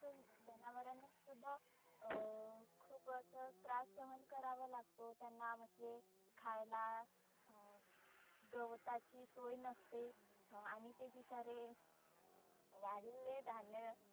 जनावरांना सुध्दा अं खुप असं त्रास सहन करावा लागतो त्यांना. म्हणजे खायला अं गवताची सोय नसते अं आणि ते बिचारे वाढलेले धान्य